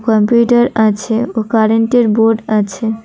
Computer আছে ও কারেন্টের বোর্ড আছে।